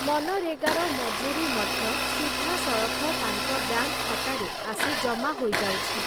ମନରେଗାର ମଜୁରୀ ମଧ୍ୟ ସିଧାସଳଖ ତାଙ୍କ ବ୍ୟାଙ୍କ୍‌ ଖାତାରେ ଆସି ଜମା ହୋଇଯାଉଛି ।